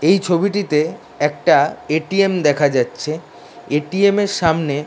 এই ছবিটিতে একটা এ.টি.এম. দেখা যাচ্ছে এ.টি.এম. -এর সামনে --